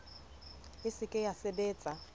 e se ke ya sebetsa